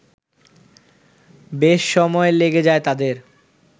বেশ সময় লেগে যায় তাদের